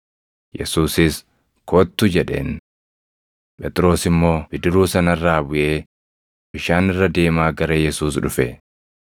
Yesuusis, “Kottu” jedheen. Phexros immoo bidiruu sana irraa buʼee bishaan irra deemaa gara Yesuus dhufe.